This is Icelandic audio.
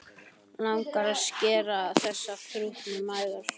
Langar að skera á þessar þrútnu æðar.